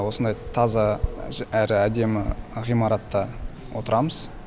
осындай таза әрі әдемі ғимаратта отырамыз